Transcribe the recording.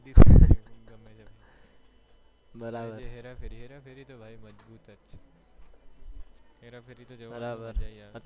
બરાબર હેરાફેરી તો ભાઈ મજબૂત છે હેરાફેરી તો છે યાર